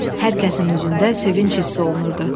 Hər kəsin üzündə sevinc hiss olunurdu.